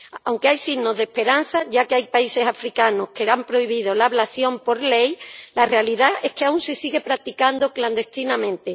Aunque hay signos de esperanza, ya que hay países africanos que han prohibido la ablación por ley, la realidad es que aún se sigue practicando clandestinamente.